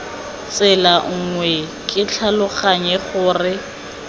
tsela nngwe ke tlhaloganya gore